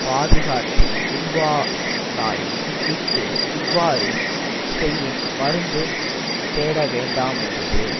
பாதுகாத்து உண்பானாயின் இஃது இவ்வாறு செய்யின் மருந்து தேடவேண்டாமென்றது